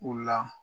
U la